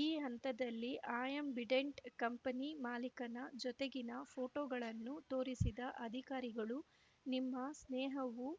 ಈ ಹಂತದಲ್ಲಿ Ambidant company ಮಾಲಿಕನ ಜೊತೆಗಿನ ಫೋಟೋಗಳನ್ನು ತೋರಿಸಿದ ಅಧಿಕಾರಿಗಳು ನಿಮ್ಮ ಸ್ನೇಹವು